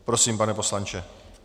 Prosím, pane poslanče.